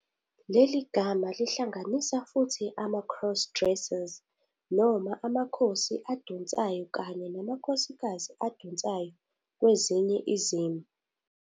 Leli gama lingahlanganisa futhi ama-cross-dressers noma amakhosi adonsayo kanye namakhosikazi adonsayo kwezinye izimo.